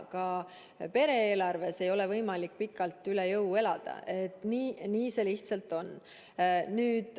Ka pere-eelarvega ei ole võimalik pikalt üle jõu elada, nii see lihtsalt on.